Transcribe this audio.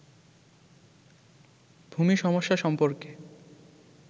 ভূমি সমস্যা সম্পর্কে